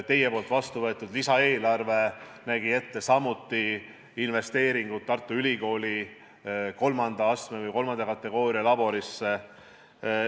Teie vastu võetud lisaeelarve nägi ette samuti investeeringud Tartu Ülikooli kolmanda kategooria laborisse.